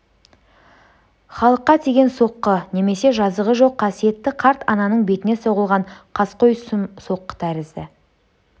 халыққа тиген соққы немесе жазығы жоқ қасиетті қарт ананың бетіне соғылған қаскөй сұм соққы тәрізді